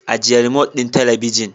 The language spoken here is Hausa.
Ajiye remote ɗin talabijin.